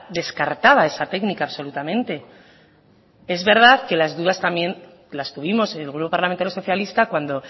descartaba esa técnica absolutamente es verdad que las dudas también las tuvimos el grupo parlamentario socialista cuando